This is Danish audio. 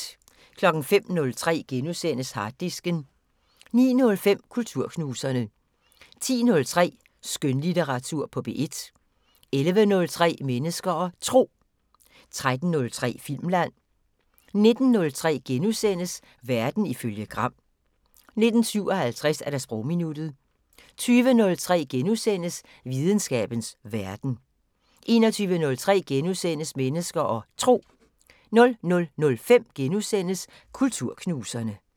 05:03: Harddisken * 09:05: Kulturknuserne 10:03: Skønlitteratur på P1 11:03: Mennesker og Tro 13:03: Filmland 19:03: Verden ifølge Gram * 19:57: Sprogminuttet 20:03: Videnskabens Verden * 21:03: Mennesker og Tro * 00:05: Kulturknuserne *